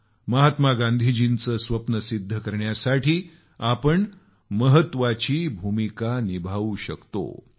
महात्मा गांधी यांचं स्वप्न किती महत्वाची भूमिका निभावू शकते पहा